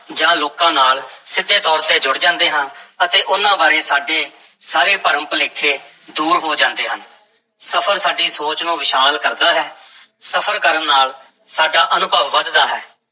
ਜਾਂ ਲੋਕਾਂ ਨਾਲ ਸਿੱਧੇ ਤੌਰ ਤੇ ਜੁੜ ਜਾਂਦੇ ਹਾਂ ਅਤੇ ਉਹਨਾਂ ਬਾਰੇ ਸਾਡੇ ਸਾਰੇ ਭਰਮ-ਭੁਲੇਖੇ ਦੂਰ ਹੋ ਜਾਂਦੇ ਹਨ, ਸਫ਼ਰ ਸਾਡੀ ਸੋਚ ਨੂੰ ਵਿਸ਼ਾਲ ਕਰਦਾ ਹੈ, ਸਫ਼ਰ ਕਰਨ ਨਾਲ ਸਾਡਾ ਅਨੁਭਵ ਵਧਦਾ ਹੈ।